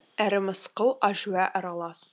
әрі мысқыл әжуа аралас